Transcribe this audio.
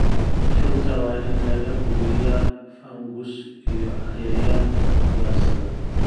Rugta waa in laga hubiyaa fungus iyo cayayaan ugaarsada.